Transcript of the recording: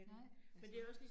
Nej altså